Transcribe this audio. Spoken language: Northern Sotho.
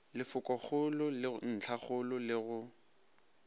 lefokogolo le ntlhakgolo le go